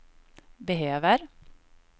behöver